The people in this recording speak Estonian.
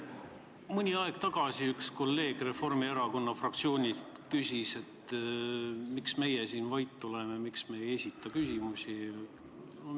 Mõni aeg tagasi küsis üks kolleeg Reformierakonna fraktsioonist, miks meie siin vait oleme, miks me ei esita küsimusi.